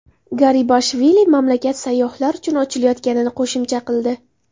Garibashvili mamlakat sayyohlar uchun ochilayotganini qo‘shimcha qildi.